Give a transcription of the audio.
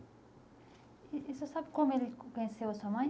E você sabe como ele conheceu a sua mãe?